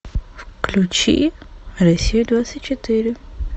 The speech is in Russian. включи россию двадцать четыре